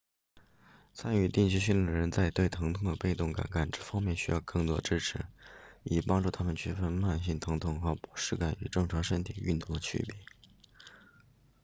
参与定期训练的人在对疼痛的被动感知方面需要更多支持以帮助他们区分慢性疼痛和不适感与正常身体运动的区别